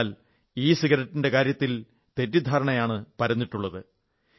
എന്നാൽ ഇ സിഗരറ്റിന്റെ കാര്യത്തിൽ തെറ്റിദ്ധാരണയാണ് പരന്നിട്ടുള്ളത്